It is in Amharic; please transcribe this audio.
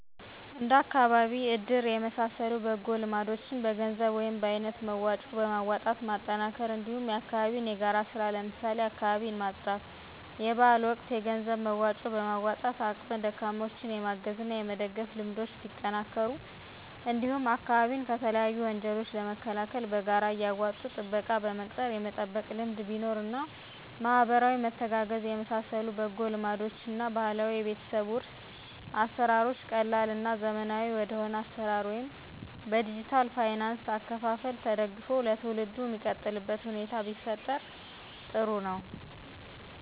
እንደ አካባቢ እድር የመሳሰሉ በጎ ልማዶችን በገንዘብ ወይም በአይነት መዋጮ በማዋጣት ማጠናከር እንዲሁም የአካባቢ የጋራ ስራ ለምሳሌ አካባቢን ማፅዳት; የበአል ወቅት የገንዘብ መዋጮ በማዋጣት አቅመ ደካማዎችን የማገዝ እና የመደገፍ ልምዶች ቢጠናከሩ እንዲሁም አካባቢን ከተለያዩ ወንጀሎች ለመከላከል በጋራ እያዋጡ ጥበቃ በመቅጠር የመጠበቅ ልምድ ቢኖር እና ማህበራዊ መተጋገዝ የመሳሰሉ በጎ ልማዶችን እና ባህላዊ የቤተሰብ ዉርስ አሰራሮች ቀላል እና ዘመናዊ ወደሆነ አሰራር ወይም በዲጅታል ፋይናንስ አከፋፈል ተደግፎ ለትውልዱ ሚቀጥልበት ሁኔታ ቢፈጠር ጥሩ ነው።